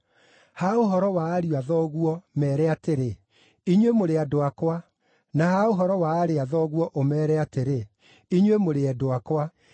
“Ha ũhoro wa ariũ a thoguo, meere atĩrĩ, ‘Inyuĩ mũrĩ andũ akwa’, na ha ũhoro wa aarĩ a thoguo, ũmeere atĩrĩ, ‘Inyuĩ mũrĩ endwa akwa’.